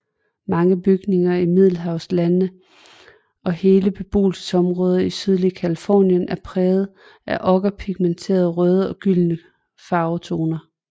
Mange bygninger i Middelhavslandene og hele beboelsesområder i det sydlige Californien er prægede af okkerpigmenternes røde og gyldne farvetoner